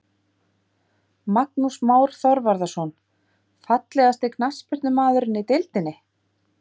Magnús Már Þorvarðarson Fallegasti knattspyrnumaðurinn í deildinni?